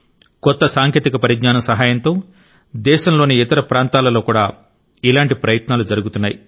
కొత్త సాంకేతిక పరిజ్ఞానం సహాయంతో దేశంలోని ఇతర ప్రాంతాలలో కూడా ఇలాంటి ప్రయత్నాలు జరుగుతున్నాయి